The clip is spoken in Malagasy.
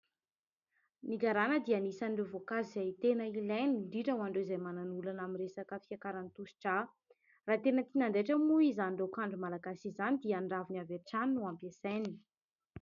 Ny garana dia anisan'ireo voankazo izay tena ilaina, indrindra ho an'ireo izay manana olana amin'ny resaka fiakaran'ny tosidrà. Raha tena tiana handaitra moa izany raokandro malagasy izany dia ny raviny avy hatrany no ampiasaina.